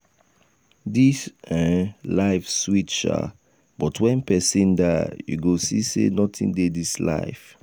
dis um life sweet shaa but wen pesin die you go see sey notin dey dis life.